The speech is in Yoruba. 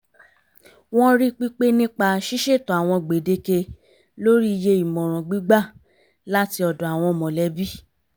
wọ́n rí pípé nípa ṣíṣètò àwọn gbèdéke lórí iye ìmọ̀ràn gbígbà láti ọ̀dọ̀ àwọn mọ̀lẹ́bí